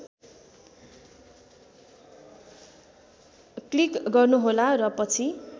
click गर्नुहोला र पछि